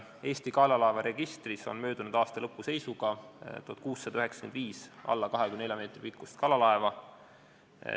Eesti kalalaevaregistris oli möödunud aasta lõpu seisuga 1695 alla 24 meetri pikkust kalalaeva.